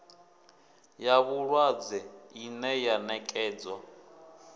ya vhulwadze ine ya nekedzwa